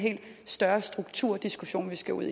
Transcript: større strukturdiskussion vi skal ud